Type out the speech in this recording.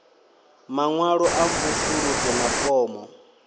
maṅwalo a mvusuludzo na fomo